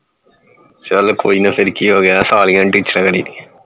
ਚੱਲ ਕੋਈ ਨੀ ਫੇਰ ਕਿ ਹੋ ਗਿਆ ਸਾਲੀਆਂ ਨਾਲ ਟੀਚਰਾਂ ਕਰਿ ਦੀ ਹੈ